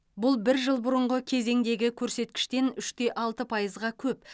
бұл бір жыл бұрынғы кезеңдегі көрсеткіштен үш те алты пайызға көп